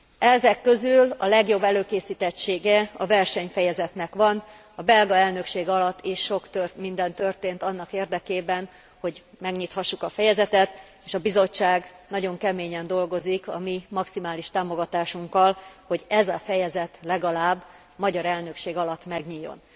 Ezek közül legjobb előkészítettsége a verseny fejezetnek van, a belga elnökség alatt is sok minden történt annak érdekében, hogy megnyithassuk a fejezetet, és a Bizottság nagyon keményen dolgozik a mi maximális támogatásunkkal, hogy ez a fejezet legalább a magyar elnökség alatt megnyíljon.